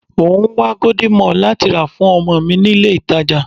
Mò ń wá golden morn láti rà fún ọmọ mi ní ilé ìtàjà.